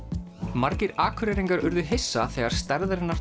margir Akureyringar urðu hissa þegar stærðarinnar